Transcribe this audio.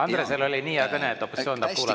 Andresel oli nii hea kõne, et opositsioon tahab kuulata.